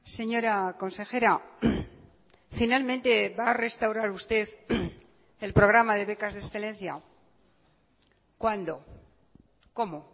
señora consejera finalmente va a restaurar usted el programa de becas de excelencia cuándo cómo